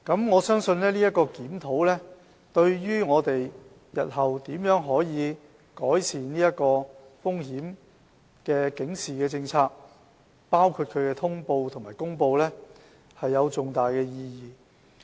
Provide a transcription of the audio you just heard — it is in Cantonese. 我相信今次檢討對於我們日後如何改善風險警示政策，包括其通報和公告有重大的意義。